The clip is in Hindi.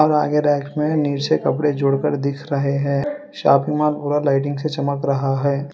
आगे रैंक में नीचे कपड़े जोड़कर दिख रहे हैं शॉपिंग माल पूरा लाइटिंग से चमक रहा है।